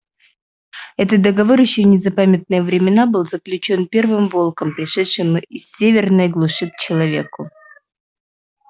этот договор ещё в незапамятные времена был заключён первым волком пришедшим из северной глуши к человеку